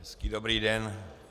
Hezký, dobrý den.